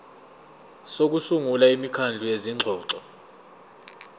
sokusungula imikhandlu yezingxoxo